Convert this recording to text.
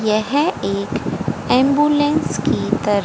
यह एक एंबुलेंस की तरह--